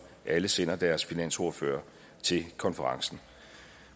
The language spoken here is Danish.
alle sender deres finansordfører til konferencen